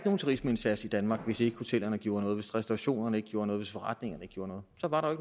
nogen turismeindsats i danmark hvis ikke hotellerne gjorde noget hvis ikke restaurationerne gjorde noget forretningerne gjorde noget så var der